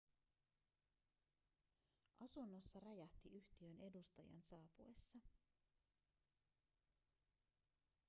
asunnossa räjähti yhtiön edustajan saapuessa